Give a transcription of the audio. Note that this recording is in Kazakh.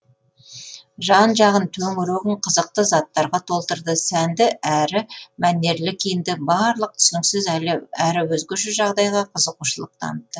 жан жағын төңірегін қызықты заттарға толтырды сәнді әрі мәнерлі киінді барлық түсініксіз әрі өзгеше жағдайға қызығушылық танытты